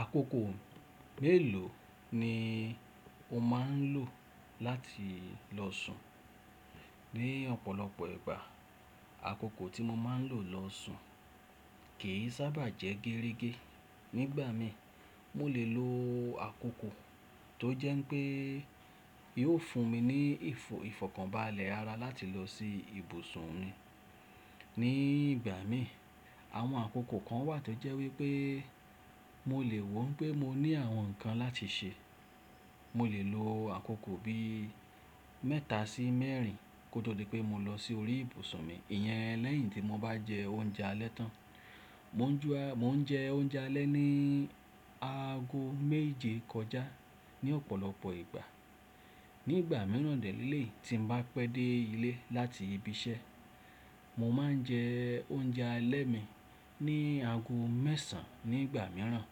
Àkókò mélòó ni o máa ń lò láti lọ sùn? Ni ọ̀pọ̀lọpọ̀ ìgbà, àkókò tí mo máa ń lò lọ sùn kì í sábà jẹ́ géregé. Nígbà mi, mo lè lo àkókò tó jẹ́ pé yóò fún mi ní ìfọ̀kànbalẹ̀ ara láti lọ sí ibùsùn mi. Ní ìgbà mi, àwọn àkókò kan wà tó jẹ́ wípé mo lè woo pé mo ní àwọn ǹkan láti ṣe. Mo lè lo àkókò bí mẹ́ta sí mẹ́rìn kótó di pé mo lọ sí orí ìbùsùn mi. Ìyẹn lẹ́yìn tí mo bá jẹ oúnjẹ alẹ́ tán. Mò ń jẹ oúnjẹ alẹ́ ní aago méje kọjá ní ọ̀pọ̀lọpọ̀ ìgbà. Ní ìgbà mìíràn lèléè tí mo bá pẹ́ dé ilé láti ibi iṣẹ́, mo máa ń jẹ oúnjẹ alẹ́ mi ní aago mẹ́sàn-án nígbà mìíràn.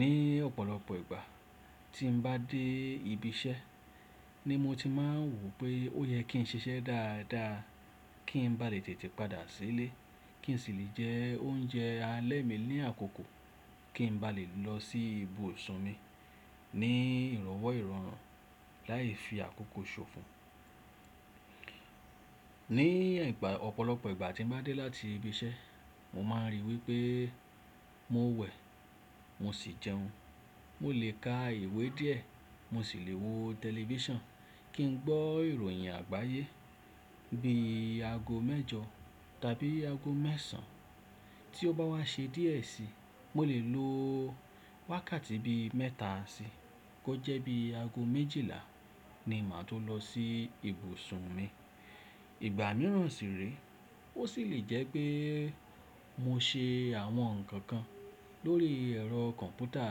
Ní ọ̀pọ̀lọpọ̀ ìgbà tí mo bá dé ibi iṣẹ́ ni mo ti máa ń wò pé ó yẹ kí n ṣe iṣẹ́ dáadáa kí n ba lè tètè padà sílé kí n sì lè jẹ oúnjẹ alẹ́ mi ní àkókò kí n ba lè lọ sí ibùsùn mi ní ìrọ̀wọ́ ìrọ̀rùn láì fi àkókò ṣòfò. Ní ọ̀pọ̀lọpọ̀ ìgbà tí mo bá dé láti ibi iṣẹ́, mo máa rí wípé mo wẹ̀, mo sì jẹun. Mo lè ka ìwé díẹ̀, mo sì lè wo tẹlifíṣàn kí n gbọ́ ìròyìn àgbáyé bí i aago mẹ́jọ tàbí aago mẹ́sàn-án. Tí ó bá wá ṣe díẹ̀ sí, mo lè lo wákàtí bí mẹ́ta si kó jẹ́ bí i aago méjìlá ni màá tó lọ sí ibùsùn mi. Ìgbà mìíràn sì rè é, ó sì lè jẹ́ pé mo ṣe àwọn ǹkan kan lórí ẹ̀rọ kọ̀m̀pútà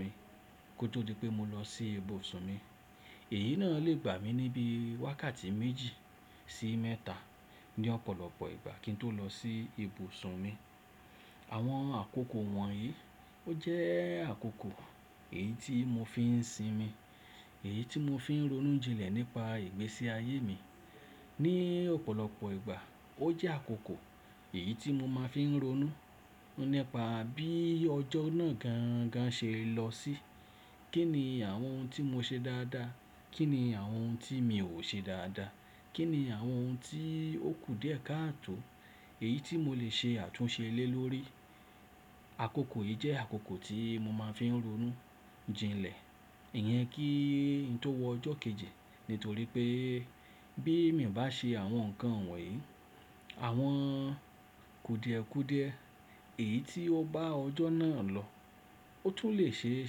mi kó tó di pé mo lọ sí ibùsùn mi. Èyí náà lè gbà mí níbí wákàtí méjì sí mẹ́ta ní ọ̀pọ̀lọpọ̀ ìgbà kí n tó lọ sí ibùsùn mi. Àwọn àkókò wọ̀nyí, ó jẹ́ àkókò èyí tí mo fi ń sinmi, èyí tí mo fi ń ronú jinlẹ̀ nípa ìgbésí ayé mi. Ní ọ̀pọ̀lọpọ̀ ìgbà ó jẹ́ àkókò èyí tí mo máa fi ń ronú nípa bí ọjọ́ náà gangan ṣe lọ sí. Kí ni àwọn ohun tí mo ṣe dáadáa? Kí ni àwọn ohun tí mi ò ṣe dáadáa? Kí ni àwọn ohun tí ó kù díẹ̀ káàtò èyí tí mo lè ṣe àtúnṣe lé lórí? Àkókò yìí jẹ́ àkókò tí mo máa ń fi ronú jinlẹ̀. Ìyẹn kí n tó wọ ọjọ́ kejì. Nítorí pé bí mi ò bá ṣe àwọn ǹkan wọ̀nyí, àwọn kù díẹ̀ kù díẹ̀ èyí tí ó bá ọjọ́ náà lọ, ó tún lè ṣe é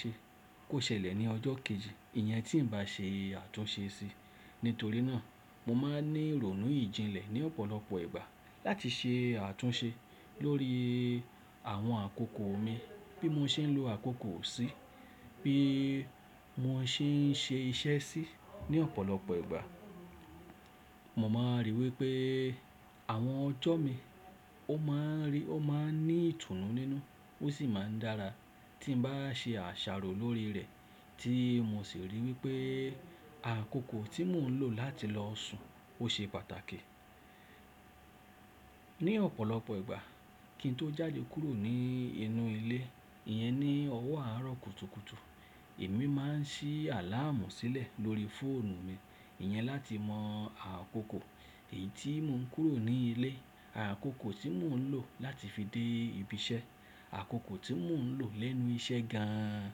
ṣe kó ṣẹlẹ̀ ní ọjọ́ kejì. Ìyẹn tí n bá ṣe àtúnṣe sí. Nítorí náà mo máa ń ní ronú ìjìnlẹ̀ ní ọ̀pọ̀lọpọ̀ ìgbà láti ṣe àtúnṣe lórí àwọn àkókò mi bí mo ṣe ń lo àkókò sí, bí mo ṣe ń ṣe iṣẹ́ sí ní ọ̀pọ̀lọpọ̀ ìgbà. Mo máa rí i wípé àwọn ọjọ́ mi ó máa ń ní ìtùnú nínú ó sì máa ń dára tí mo bá ṣe àṣàrò lórí rẹ̀ tí mo sì rí i wípé àkókò tí mò ń lò láti lọ sùn ó ṣe pàtàkì. Ní ọ̀pọ̀lọpọ̀ ìgbà kí n tó jáde kúrò ní inú ilé, ìyẹn ní ọwọ́ àárọ̀ kùtùkùtù, èmi máa ń ṣí àláàmù sílẹ̀ lórí fóònù mi. Ìyẹn láti mọ àkókò èyí tí mò ń kúrò ní ilé, àkókò tí mò ń lò láti fi dé ibi iṣẹ́, àkókò tí mò ń lò lẹ́nu iṣẹ́ gan-an,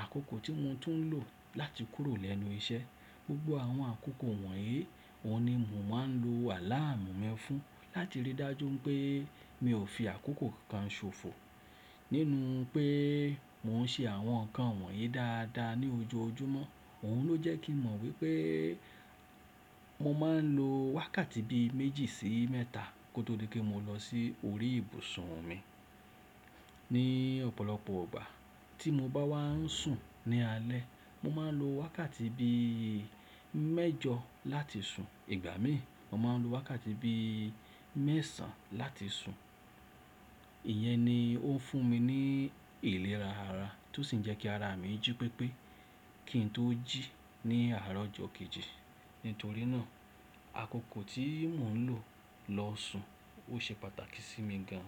àkókò tí mo tún ń lò láti kúrò lẹ́nu iṣẹ́. Gbgbo àwọn àkókò wọ̀nyí òun ni mò ń máa ń lo àláàmù mi fún láti rí dájú pé mi ò fi àkókò kankan ṣòfò nínú pé mò ń ṣe àwọn ǹkan wọ̀nyí dáadáa ní ojoojúmọ́. Òhun ló jẹ́ kí n mọ̀ wípé mo máa ń lo wákàtí bí méjì sí mẹ́ta kó tó di pé mo lọ sí orí ìbùsùn mi. Ní ọ̀pọ̀lọpọ̀ ìgbà tí mo bá wá ń sùn ní alẹ́, mo máa ń lo wákàtí bí i mẹ́jọ láti sùn. Ìgbà mi, mo máa ń lo wákàtí bí i mẹ́sàn-án láti sùn. Ìyẹn ni ó fún mi ní ìlera ara tó sì ń jẹ́ kí ara mi jí pépé kí n tó jí ní àárọ̀ ọjọ́ kejì. Nítorí náà àkókò tí mò ń lò lọ sùn ó ṣe pàtàkì sí mi gan.